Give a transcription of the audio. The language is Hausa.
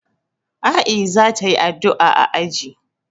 A'i za ta yi addu'a a aji.